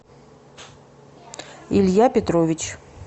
илья петрович